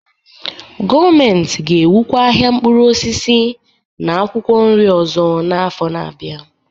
Gọọmentị ga-ewukwa ahịa mkpụrụ osisi na akwụkwọ nri ọzọ n'afọ na-abịa